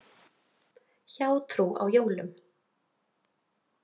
„Hjátrú á jólum“.